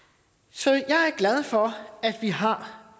så jeg er glad for at vi har